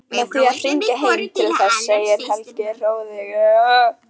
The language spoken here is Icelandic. Með því að hringja heim til þess, segir Helgi hróðugur.